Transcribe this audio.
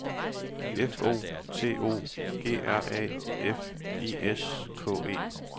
F O T O G R A F I S K E